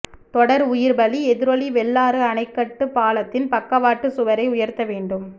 தொடர் உயிர் பலி எதிரொலி வெள்ளாறு அணைக்கட்டு பாலத்தின் பக்கவாட்டு சுவரை உயர்த்த வேண்டும்